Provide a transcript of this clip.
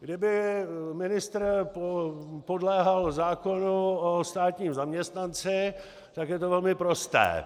Kdyby ministr podléhal zákonu o státním zaměstnanci, tak je to velmi prosté.